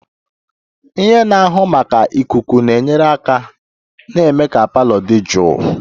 Ihe na-ahụ maka ikuku na-enyere aka na-eme ka parlour dị jụụ